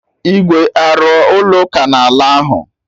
Igwe arụ ọ ụlọ ụka na ala ahụ